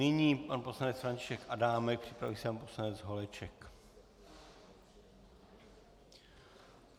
Nyní pan poslanec František Adámek, připraví se pan poslanec Holeček.